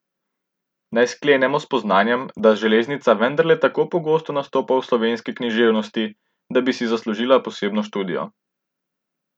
Naj sklenemo s spoznanjem, da železnica vendarle tako pogosto nastopa v slovenski književnosti, da bi si zaslužila posebno študijo.